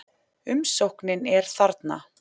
Umsóknin er þarna